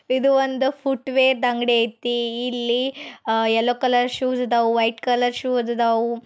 ಇದು ಒಂದ footwear ಅಂಗಡೈತಿ. ಇಲ್ಲಿ ಅಹ್ ಯೆಲ್ಲೋ ಕಲರ್ ಶೂಸ್ ಅದಾವು. ವೈಟ್ ಕಲರ್ ಶೂ ಅದು ಅದಾವು.